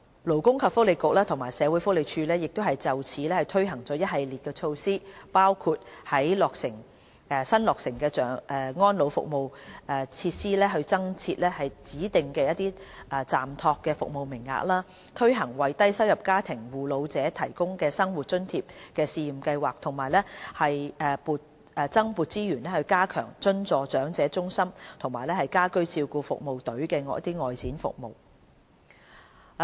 勞工及福利局和社會福利署就此推行了一系列措施，包括在新落成的安老服務設施增設指定暫託服務名額、推行為低收入家庭護老者提供生活津貼試驗計劃，以及增撥資源加強津助長者中心及家居照顧服務隊的外展服務等。